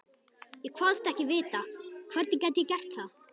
Ég kvaðst ekki vita, hvernig ég gæti gert það.